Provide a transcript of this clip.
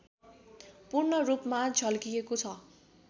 पूर्ण रूपमा झल्किएको छ